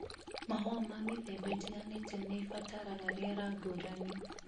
Mahũa ma mĩthemba ĩtiganĩte nĩ ĩbataraga rĩera ngũrani.